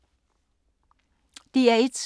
DR1